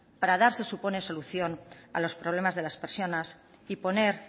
para dar se supone solución a los problemas de las personas y poner